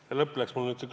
See lõpp läks mul nüüd ...